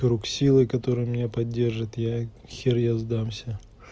круг силы которые меня поддержит я хер я сдамся